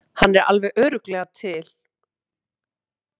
Hann er alveg örugglega til.